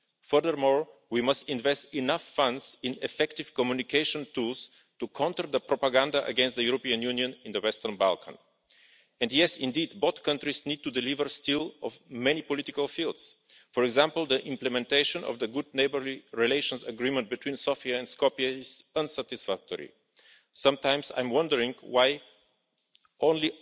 Furthermore, we must invest enough funds in effective communication tools to counter the propaganda against the European Union in the Western Balkans. And yes indeed, both countries need to deliver still in many political fields, for example, the implementation of the Good Neighbourly Relations Agreement between Sofia and Skopje is unsatisfactory. Sometimes I wonder why it is only